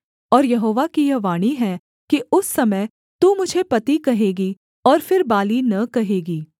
और यहोवा की यह वाणी है कि उस समय तू मुझे पति कहेगी और फिर बाली न कहेगी